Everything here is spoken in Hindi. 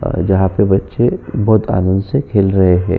जहाँ पे बच्चे बहोत आनंद से खेल रहे हैं।